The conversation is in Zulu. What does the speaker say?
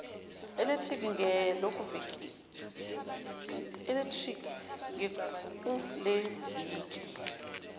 electric ge kuleliviki